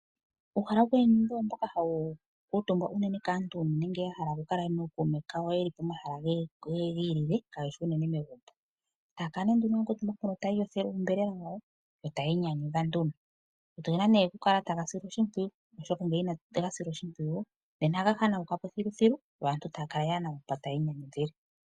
Uuhala woku inyanyudha owo mboka hawu kuutumbwa kaantu unene ngele ya hala okukala nookuume kawo uuna ya hala okukala pomahala galwe gi ilile kaa geshi unene megumbo. Taya kala ihe ya kuutumba mpoka yo taya iyothele oonyama dhawo yo taya inyanyudha nduno. Ogena nduno okukala taga silwa oshimpwiyu, oshoka ngele inatu ga sila oshimpwiyu otaga hanauka po thiluthilu yo aantu taya kala yaa na mpoka taya yi momuzile.